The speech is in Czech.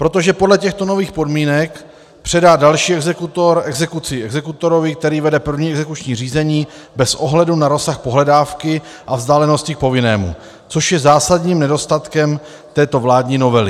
Protože podle těchto nových podmínek předá další exekutor exekuci exekutorovi, který vede první exekuční řízení, bez ohledu na rozsah pohledávky a vzdálenosti k povinnému, což je zásadním nedostatkem této vládní novely.